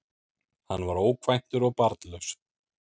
Hann var ókvæntur og barnlaus